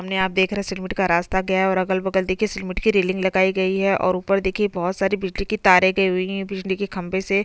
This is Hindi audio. अ घने जंगल जैसे पेड़ उगे हुए हैं और आसमान का रंग देखिये नीला है और यहाँ पर देखिए कुछ मिट्टी जैसे मैदान भी है।